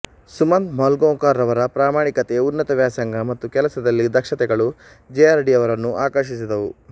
ಸುಮಂತ್ ಮೂಲ್ಗಾಂಕರ್ ರವರ ಪ್ರಾಮಾಣಿಕತೆ ಉನ್ನತ ವ್ಯಾಸಂಗ ಮತ್ತು ಕೆಲಸದಲ್ಲಿ ದಕ್ಷತೆಗಳು ಜೆ ಆರ್ ಡಿ ಯವರನ್ನು ಆಕರ್ಷಿಸಿದವು